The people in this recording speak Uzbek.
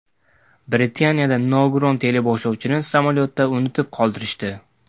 Britaniyada nogiron teleboshlovchini samolyotda unutib qoldirishdi.